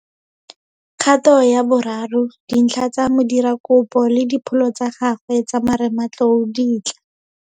Kgato ya bo 3 - Dintlha tsa modirakopo le dipholo tsa gagwe tsa marematlou di tla.